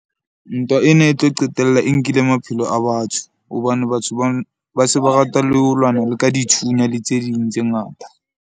Ntwa ena e tlo qetella e nkile maphelo a batho, hobane batho ba se ba rata le ho lwana le ka dithunya le tse ding tse ngata.